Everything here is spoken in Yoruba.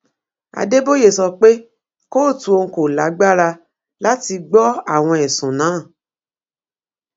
adéboye sọ pé kóòtù òun kò lágbára láti gbọ àwọn ẹsùn náà